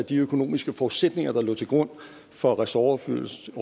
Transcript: at de økonomiske forudsætninger der lå til grund for ressortoverførslen